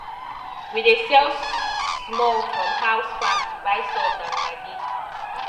we dey sell small from house farm to buy salt and maggi